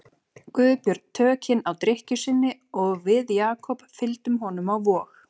Guðbjörn tökin á drykkju sinni og við Jakob fylgdum honum á Vog.